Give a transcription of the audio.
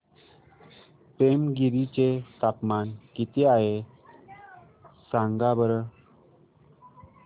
पेमगिरी चे तापमान किती आहे सांगा बरं